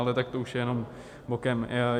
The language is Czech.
Ale tak to už je jenom bokem.